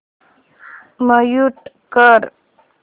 mute कर